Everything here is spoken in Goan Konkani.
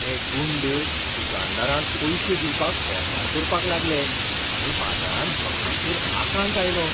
ते गुंड दुकानदारांक पयशे दिवपाक फोर्सार करपाक लागले आनी बाजारांत सगळ्यांचेर आकांत आयलो.